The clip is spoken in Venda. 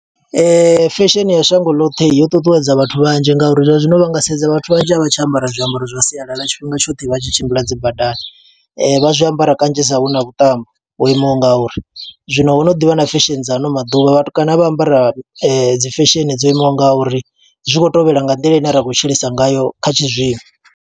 Fesheni ya shango ḽoṱhe, yo ṱuṱuwedza vhathu vhanzhi nga uri zwa zwino vha nga sedza vhathu vhanzhi a vha tsha ambara zwiambaro zwa sialala. Tshifhinga tshoṱhe vha tshi tshimbila dzi badani, vha zwiambaro kanzhisa hu na vhuṱambo ho imaho nga uri. Zwino ho no ḓivha na fesheni dza ano maḓuvha, vhatukana vha ambara dzi fesheni dzo imaho nga uri, zwi kho tovhela nga nḓila ine ra khou tshilisa ngayo kha tshizwino.